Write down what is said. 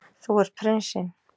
Þú ert prinsinn.